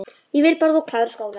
Ég vil bara að þú klárir skólann